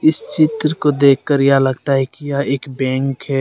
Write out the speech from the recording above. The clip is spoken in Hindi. इस चित्र को देखकर यह लगता है कि यह एक बैंक है।